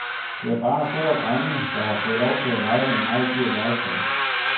Det er bare store drenge, der har fået lov til at lege med meget dyrt legetøj.